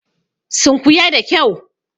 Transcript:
Sunkuya da kyau!